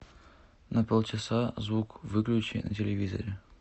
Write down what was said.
на полчаса звук выключи на телевизоре